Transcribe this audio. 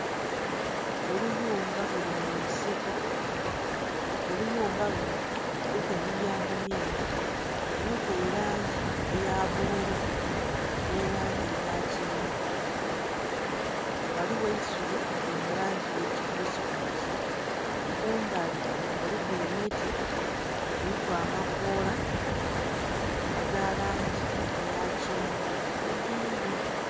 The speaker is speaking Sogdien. Oluyumba lulimunsiko oluyumbaba lunho luliku emiryango mingi luliku elangi eyabululu nhelangi eyakyenvu ghaligho eisubi liri mulangi eyekyikusikusi kumbali kuliku emiti diriku amakoola agalangi eyakyenvu egyindhi